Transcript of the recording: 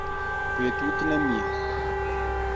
Betut nemie